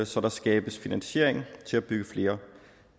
så der skabes finansiering til at bygge flere